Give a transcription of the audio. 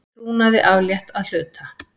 Trúnaði aflétt að hluta